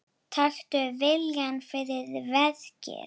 Taktu viljann fyrir verkið.